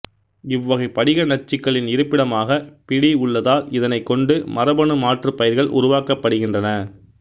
இவ்வகை படிக நச்சுக்களின் இருப்பிடமாக பி டி உள்ளதால் இதனைக் கொண்டு மரபணு மாற்றுப் பயிர்கள் உருவாக்கப்படுகின்றன